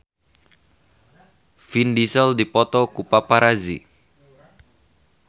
Vin Diesel dipoto ku paparazi